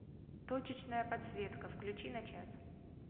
точечная подсветка включи на час